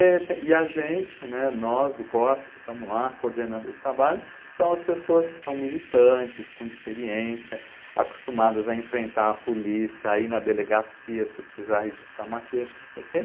E a gente, né, nós do Corsa, que estamos lá coordenando esse trabalho, são as pessoas que são militantes, com experiência, acostumadas a enfrentar a polícia, a ir na delegacia se precisar registrar uma queixa, não sei o quê.